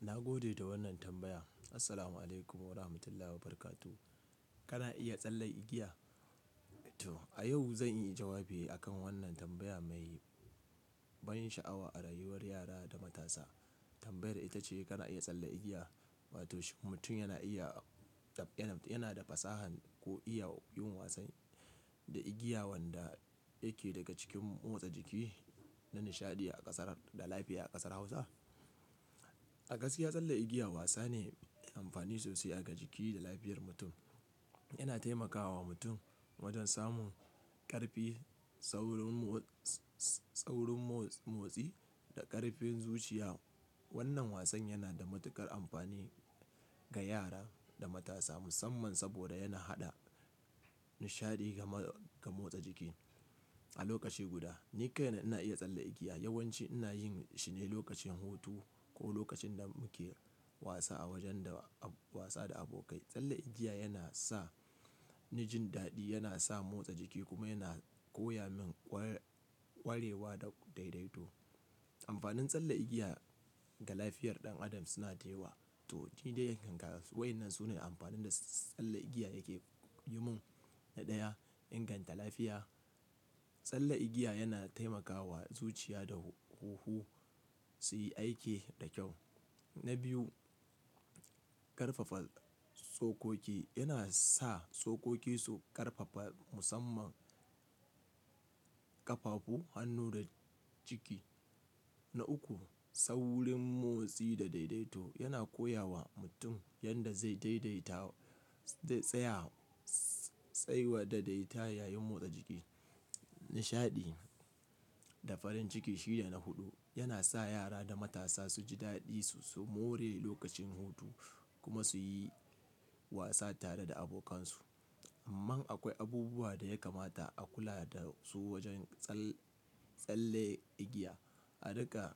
Na gode da wannan tambaya. Assalamu alaikum wa rahmatullahi wa barakatuh. Kana iya tsalle igiya? To, a yau zan yi jawabi akan wannan tambaya mai ban sha'awa a rayuwar yara da matasa. Tambayar ita ce kana iya tsalle igiya? Wato mutum yana iya, yana da fasaha ko iya yin wasan da igiya wanda yake daga cikin motsa jiki da nishaɗi a ƙasar, da lafiya a ƙasar Hausa. A gaskiya tsalle igiya wasa ne mai amfani sosai ga jiki da lafiyar mutum. Yana taimakawa mutum wajen samun ƙarfi, tsaurin motsi da ƙarfin zuciya. Wannan wasan yana da matuƙar amfani ga yara da matasa musamman saboda yana haɗa nishaɗi ga motsa jiki a lokaci guda. Ni kai na ina iya tsalle igiya. Yawan ci ina yin shi ne lokacin hutu ko lokacin da muke wasa a wajen da wasa da abokai. Tsalle igiya yana sa ni jin daɗi, yana sa motsa jiki kuma yana koya min ƙwarewa da daidaito. Amfanin tsalle igiya ga lafiyar ɗan adam suna da yawa. To, ni dai yankan ga wa'ennan su ne amfanin da tsalle igiya yake yi mun. Na ɗaya, inganta lafiya. Tsalle igiya yana taimakawa zuciya da huhu su yi aiki da kyau. Na biyu, ƙarfafa tsokoki. Yana sa tsokoki su ƙarfafa musamman ƙafafu, hannu da jiki. Na uku, tsaurin motsi da daidaito. Yana koya wa mutum yadda zai daidaita, tsayawa da daidaita yayin motsa jiki. Nishaɗi da farin ciki shi ne na huɗu. Yana sa yara da matasa su ji daɗi su more lokacin hutu kuma su yi wasa tare da abokansu. Amman akwai abubuwa da ya kamata a kula da su wajen tsalle igiya. A ruƙa,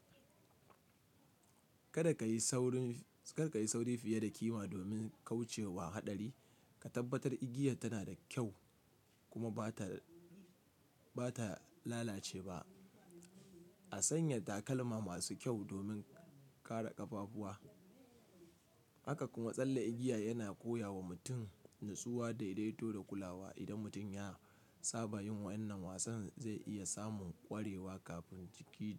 kada ka yi sauri fiye da kima domin kauce wa haɗari. Ka tabbatar igiyar tana da kyau kuma ba ta lalace ba. A sanya takalma masu kyau domin kare ƙafafuwa. Haka kuma tsalle igiya yana koya wa mutum natsuwa da daidaito da kulawa. Idan mutum ya saba yin wa'ennan wasan zai iya samun ƙwarewa kafin jiki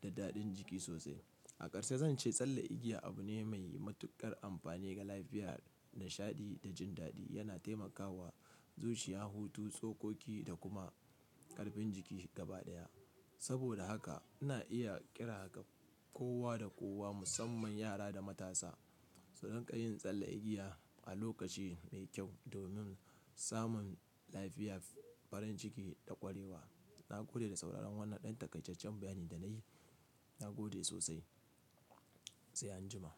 da daɗin jiki sosai. A ƙarshe zan ce tsalle igiya abu ne mai matuƙar amfani ga lafiya, nishaɗi da jin daɗi. Yana taimakawa zuciya, hutu, tsokoki da kuma ƙarfin jiki gaba ɗaya. Saboda haka ina iya ƙira kowa da kowa musamman yara da matasa su riƙa yin tsalle igiya a lokaci mai kyau domin samun lafiya, farin ciki da ƙwarewa. Na gode da sauraron wannan ɗan takaijajjen bayani da na yi. Na gode sosai. Sai an jima.